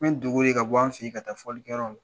Ne bɛ dogo ka bɔ an fɛ ka taa fɔli kɛ yɔrɔ.